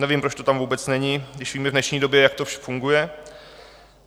Nevím, proč to tam vůbec není, když víme v dnešní době, jak to funguje.